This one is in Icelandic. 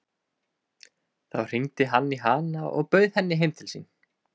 Þá hringdi hann í hana og bauð henni heim til sín.